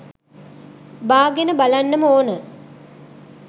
බාගෙන බලන්නම ඕන.